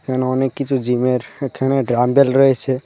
এখানে অনেক কিছু জিমের এখানে ডাম্বেল রয়েছে।